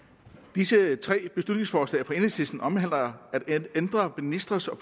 disse tre beslutningsforslag fra enhedslisten omhandler at ændre ministres og